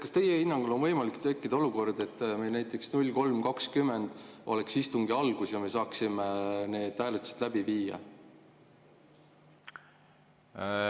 Kas teie hinnangul võib tekkida olukord, et meil näiteks kell 03.20 oleks istungi algus ja me saaksime need hääletused läbi viia?